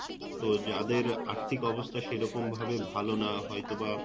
তো যাদের আর্থিক অবস্থা সেরকম ভাবে ভাল না হয়তো বা